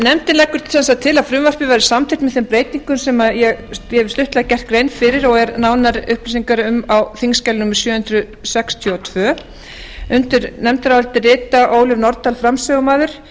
nefndin leggur sem sagt til að frumvarpið verði samþykkt með þeim breytingu sem ég hef stuttlega gert grein fyrir og eru nánari upplýsingar um á þingskjali sjö hundruð sextíu og tvö undir nefndarálitið rita ólöf nordal framsögumaður